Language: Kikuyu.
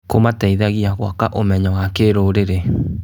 Kũmateithagia gwaka ũmenyo wa kĩrũrĩrĩ.